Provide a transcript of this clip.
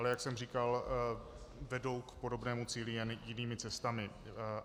Ale jak jsem říkal, vedou k podobnému cíli, jen jinými cestami.